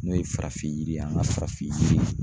N'o ye farafin yiri ye an ka farafin yiri